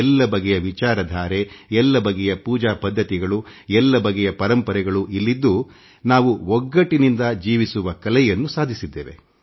ಎಲ್ಲ ಬಗೆಯ ವಿಚಾರಧಾರೆ ಎಲ್ಲ ಬಗೆಯ ಪೂಜಾ ಪದ್ಧತಿಗಳು ಎಲ್ಲ ಬಗೆಯ ಪರಂಪರೆಗಳನ್ನೂ ಅಂತರ್ಗತ ಮಾಡಿಕೊಂಡು ನಾವು ಒಗ್ಗಟ್ಟಿನಿಂದ ಜೀವಿಸುವ ಕಲೆಯನ್ನು ಅಳವಡಿಸಿಕೊಂಡಿದ್ದೇವೆ